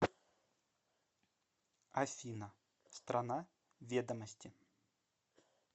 афина страна ведомости